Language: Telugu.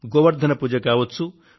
గోవర్థన పూజ కావచ్చు